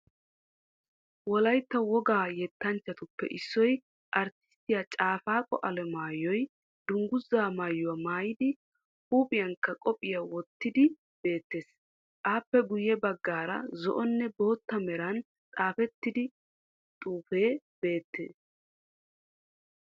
Wolaytta wogga yettanchatuppe issoy artisttiya Cafaaqo Alamaayoy Dungguzaa Maayuwaa Maayidi Huuphphiyankka qophiyaa woottidi beettes. Appe guyye baggaara zo"onne bootta meran xaafettida xuufe beetteed